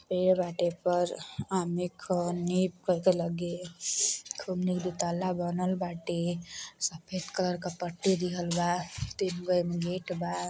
ताला बनल बाटे। सफेद कलर क पट्टी दिहल बा तीनगो एमे गेट बा।